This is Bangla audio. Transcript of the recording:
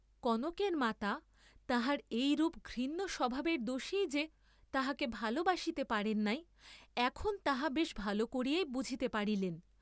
কনকের মাতা তাহার এইরূপ ঘৃণ্য স্বভাবের দোষেই যে তাহাকে ভাল বাসিতে পারেন নাই এখন তাহা বেশ ভাল করিয়াই বুঝিতে পারিলেন।